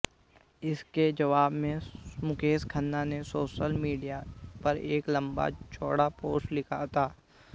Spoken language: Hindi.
इसके जवाब में मुकेश खन्ना ने सोशल मीडिया पर एक लंबा चौड़ा पोस्ट लिखा था